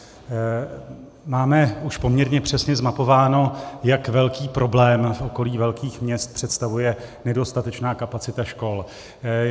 Máme už poměrně přesně zmapováno, jak velký problém v okolí velkých měst představuje nedostatečná kapacita škol.